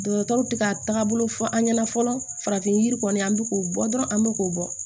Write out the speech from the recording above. Dɔgɔtɔrɔw tɛ ka taagabolo fɔ an ɲɛna fɔlɔ farafin yiri kɔni an bɛ k'o bɔ dɔrɔn an bɛ k'o bɔ